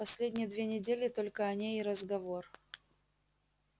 последние две недели только о ней и разговор